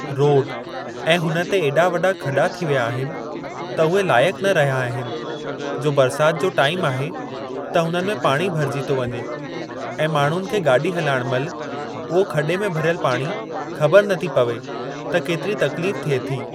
Road ऐं हुन ते ऐॾा वॾा खॾा थी विया आहिनि त उहे लाइक़ न रहिया आहिनि जो बरसाति जो टाइम आहे त हुननि में पाणी भरिजी थो वञे ऐ माण्हुनि खे गाॾी हलायण महिल उहो खॾे में भरयलु पाणी ख़बर नथी पवे त केतिरी तकलीफ़ थिए थी।